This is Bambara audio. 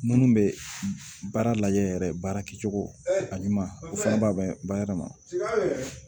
Minnu bɛ baara lajɛ yɛrɛ baara kɛcogo a ɲuman u fana b'a bayɛlɛma